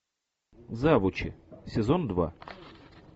завучи сезон два